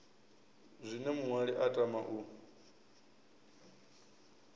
zwine muṅwali a tama u